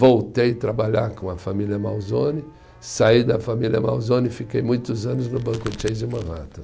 Voltei trabalhar com a família Malzone, saí da família Malzone e fiquei muitos anos no Banco Chase Manhattan.